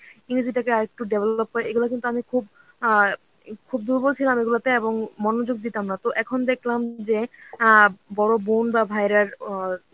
ইংরেজি টাকে আর একটু develop করে এগুলো কিন্তু আমি খুব অ্যাঁ খুব দুর্বল ছিলাম এগুলোতে এবং মনোযোগ দিতাম না তো এখন দেখলাম যে অ্যাঁ বড়ো বোন বা ভাইয়েরা অ্যাঁ